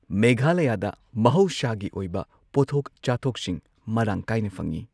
ꯃꯦꯘꯥꯂꯌꯥꯗ ꯃꯍꯧꯁꯥꯒꯤ ꯑꯣꯏꯕ ꯄꯣꯠꯊꯣꯛ ꯆꯥꯊꯣꯛꯁꯤꯡ ꯃꯔꯥꯡ ꯀꯥꯏꯅ ꯐꯪꯏ꯫